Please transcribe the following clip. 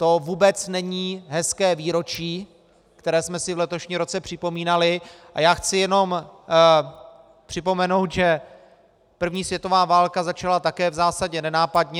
To vůbec není hezké výročí, které jsme si v letošním roce připomínali, a já chci jenom připomenout, že první světová válka začala také v zásadě nenápadně.